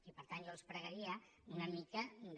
i per tant jo els pregaria una mica de